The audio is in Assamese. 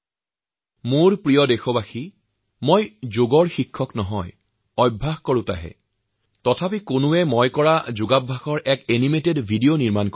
কিন্তু মই যোগাভ্যাসী একাংশ লোকে তেওঁলোকৰ নিজা সৃষ্টিশীলতাৰে মোক যোগাসনৰ শিক্ষক হিচাপে প্ৰস্তুত কৰি মোৰ যোগাভ্যাসক থ্ৰিডি এনিমেটেড ভিডিঅ বনাইছে